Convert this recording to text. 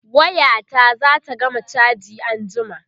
waya ta zata gama chaji anjima